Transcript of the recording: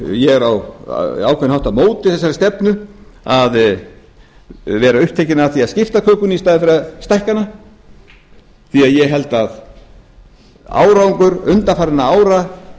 ég er á ákveðinn hátt á móti þeirri stefnu að vera upptekinn af því að skipta kökunni í staðinn fyrir að stækka hana ég held að árangur undanfarinna ára